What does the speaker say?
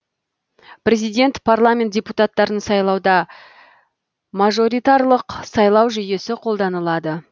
президент парламент депутаттарын сайлауда мажоритарлық сайлау жүйесі қолданылады